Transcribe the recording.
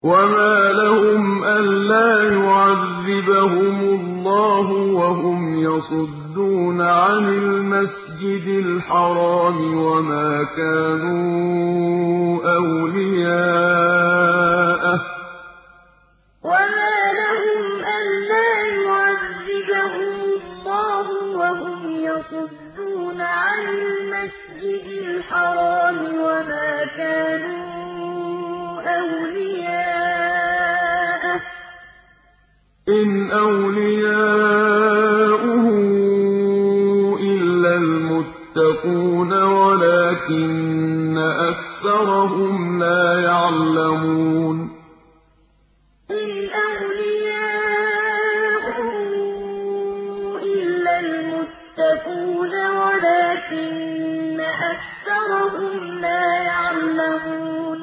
وَمَا لَهُمْ أَلَّا يُعَذِّبَهُمُ اللَّهُ وَهُمْ يَصُدُّونَ عَنِ الْمَسْجِدِ الْحَرَامِ وَمَا كَانُوا أَوْلِيَاءَهُ ۚ إِنْ أَوْلِيَاؤُهُ إِلَّا الْمُتَّقُونَ وَلَٰكِنَّ أَكْثَرَهُمْ لَا يَعْلَمُونَ وَمَا لَهُمْ أَلَّا يُعَذِّبَهُمُ اللَّهُ وَهُمْ يَصُدُّونَ عَنِ الْمَسْجِدِ الْحَرَامِ وَمَا كَانُوا أَوْلِيَاءَهُ ۚ إِنْ أَوْلِيَاؤُهُ إِلَّا الْمُتَّقُونَ وَلَٰكِنَّ أَكْثَرَهُمْ لَا يَعْلَمُونَ